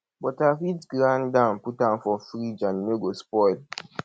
but i fit grind am put am for fridge and e no go spoil